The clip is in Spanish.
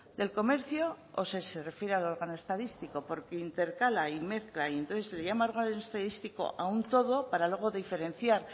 del comercio o si se refiere al órgano estadístico porque intercala y mezcla y entonces la llama órgano estadístico a un todo para luego diferenciar